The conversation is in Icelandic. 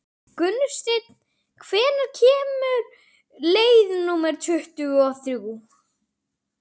Gunnsteinn, hvenær kemur leið númer tuttugu og þrjú?